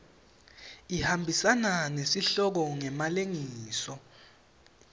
ihambisana nesihloko ngemalengiso